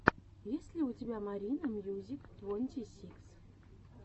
есть ли у тебя марина мьюзик твонти сикс